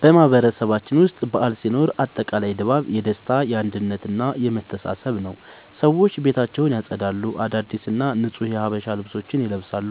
በማህበረሰባችን ውስጥ በዓል ሲኖር አጠቃላይ ድባቡ የደስታ፣ የአንድነት እና የመተሳሰብ ነዉ። ሰዎች ቤታቸውን ያጸዳሉ፣ አዳዲስ እና ንጹህ የሀበሻ ልብሶችን ይለብሳሉ፣